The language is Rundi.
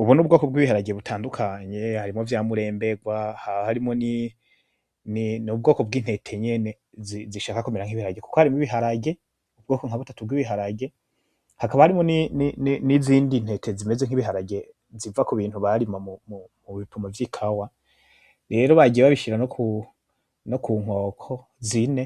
Ubu n’ubwoko bw’ibiharage butandukanye. Harimwo vya muremberwa, n’ubwoko bw’intete nyene zishaka kumera nk’ibiharage kuko harimwo ibiharage, ubwoko nka butatu bw’ibiharage. Hakaba harimwo n’izindi ntete zimez nk’ibiharage ziva ku bintu barima mu bipimo vy’ikawa. Rero bagiye babishira no ku nkoko zine